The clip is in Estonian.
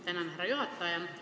Tänan, härra juhataja!